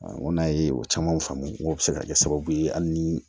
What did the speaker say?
n ko n'a ye o caman faamu n k'o bɛ se ka kɛ sababu ye hali ni